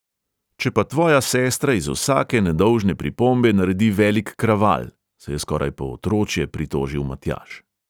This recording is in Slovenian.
"Če pa tvoja sestra iz vsake nedolžne pripombe naredi velik kraval!" se je skoraj po otročje pritožil matjaž.